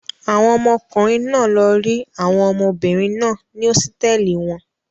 Àwọn ọmọkùnrin náà lọ rí àwọn ọmọbìnrin náà ní hósítẹ́ẹ́lì wọn.